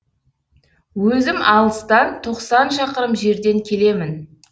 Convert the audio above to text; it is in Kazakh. өзім алыстан тоқсан шақырым жерден келемін